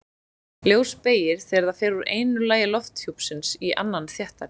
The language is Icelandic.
Ljós beygir þegar það fer úr einu lagi lofthjúpsins í annan þéttari.